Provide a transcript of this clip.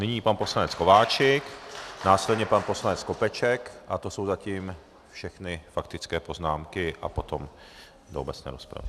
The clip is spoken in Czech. Nyní pan poslanec Kováčik, následně pan poslanec Skopeček a to jsou zatím všechny faktické poznámky a potom do obecné rozpravy.